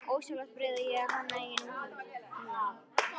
Ósjálfrátt byrja ég að hanna eigin útför í huganum